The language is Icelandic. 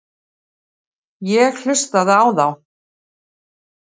Ég hlustaði á þá.